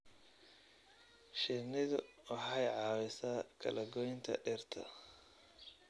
Shinnidu waxay caawisaa kala-goynta dhirta.